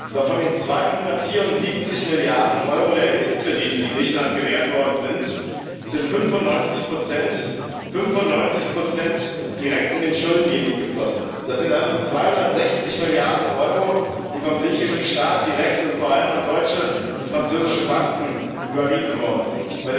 Doch von den 274 Milliarden Euro der Hilfskredite, die Griechenland gewährt worden sind, sind 95 direkt in den Schuldendienst geflossen das sind also 260 Milliarden Euro, die vom griechischen Staat direkt und vor allem an deutsche und französische Banken überwiesen worden sind.